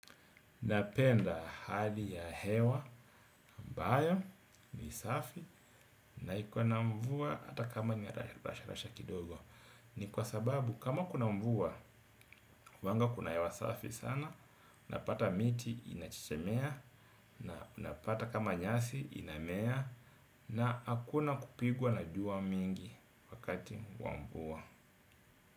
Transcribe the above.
Napenda hali ya hewa, ambayo, ni safi, na iko na mvua hata kama ni rasha rasha kidogo. Ni kwa sababu kama kuna mvua huwanga kuna hewa safi sana unapata miti inachechemea na unapata kama nyasi inamea na hakuna kupigwa na jua mingi wakati wa mvua.